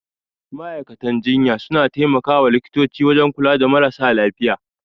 Ma'aikatan jinya suna tai makawa likitoci wajan kula da marasa lafiya